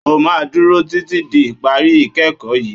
O máa dúró títí di ìparí ìkẹ́ẹ̀kọ̀ yìí.